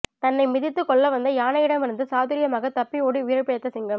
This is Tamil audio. தன்னை மிதித்து கொல்லவந்த யானையிடமிருந்து சாதூரிமாக தப்பித்து ஓடி உயிர் பிழைத்த சிங்கம்